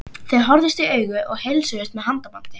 Þau horfðust í augu og heilsuðust með handabandi.